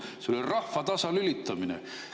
See oli rahva tasalülitamine.